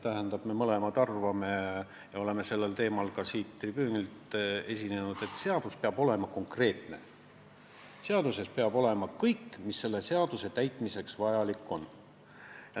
Me mõlemad arvame ja oleme sellel teemal ka siit tribüünilt sõna võtnud, et seadus peab olema konkreetne, seaduses peab olema kirjas kõik, mis selle täitmiseks vajalik on.